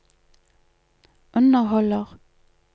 underholder